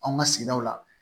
Anw ka sigidaw la